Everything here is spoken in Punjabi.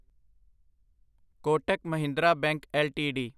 Kotak Mahindra bank LTD